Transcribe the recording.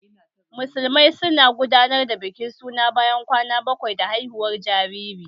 Musulmai su na gudanar da bikin suna bayan kwana bakwai da haihuwar jariri